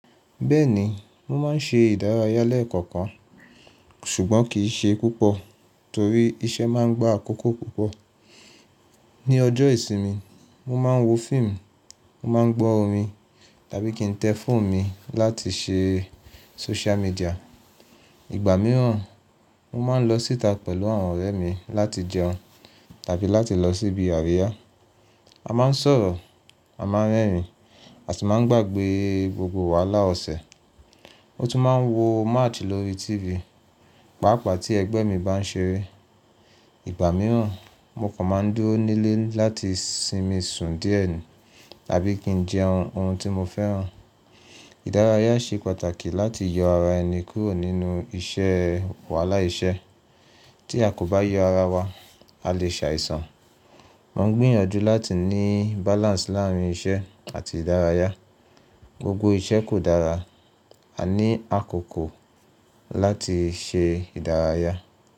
Bẹ́ẹ̀ni, mo máa ń ṣe ìdárayá lẹ́kan kan ṣùgbọ́n kì í ṣe púpọ̀ torí iṣẹ́ máa ń gba àkókò púpọ̀. Ni ọjọ́ ìsinmi, mo máa ń wo fíìmù, mo máa ń gbọ́ orin tàbí kí n tẹ fóònù mi láti ṣe social media. Ìgbà mìíràn, mo máa ń lọ síta pẹ̀lú àwọn ọ̀rẹ́ mi láti jẹun tàbí láti lọ sí ibi àríyá. A máa ń sọ̀rọ̀, a máa ń rẹ́rìn àti máa ń gbàgbé gbogbo wàhálà ọ̀sẹ̀. Mo tún máa ń wo match lórí TV pàápàá tí ẹgbẹ́ mi bá ń ṣeré. Ìgbà mìíràn, mo kàn máa ń dúró nílé láti sinmi sùn díẹ̀ ni tàbí kí n jẹun oun tí mo fẹ́ràn. Ìdárayá ṣe pàtàkì láti yọ ara ẹni kúrò nínú iṣẹ́ wàhálà iṣẹ́. Tí a kò bá yọ ara wa, a lè ṣàìsàn. Mo ń gbìyànjú láti ní balance láàárín iṣẹ́ àti ìdárayá. Gbogbo iṣẹ́ kò dára. A ní àkókò láti ṣe ìdárayá.